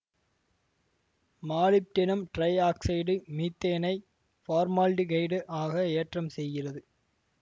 molybdenum trioxide மீத்தேனை formaldehyde ஆக ஏற்றம் செய்கிறது